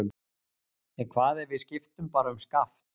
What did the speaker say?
En hvað ef við skiptum bara um skaft?